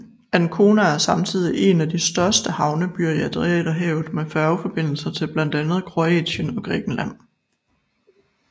Ancona er samtidig en af de største havnebyer i Adriaterhavet med færgeforbindelser til blandt andet Kroatien og Grækenland